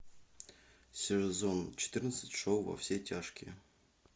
сезон четырнадцать шоу во все тяжкие